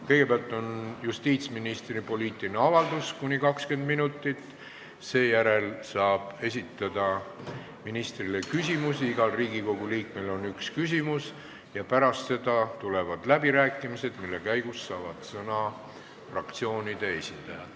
Kõigepealt on justiitsministri poliitiline avaldus, mis kestab kuni 20 minutit, seejärel saab esitada ministrile küsimusi ja pärast seda tulevad läbirääkimised, mille käigus saavad sõna fraktsioonide esindajad.